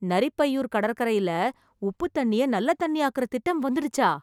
நரிப்பையூர் கடற்கரையில, உப்புதண்ணிய நல்ல தண்ணியாக்குற திட்டம் வந்துடுச்சா ?